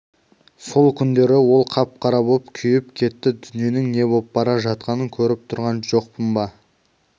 сол күндері ол қап-қара боп күйіп кетті дүниенің не боп бара жатқанын көріп тұрған жоқпын ба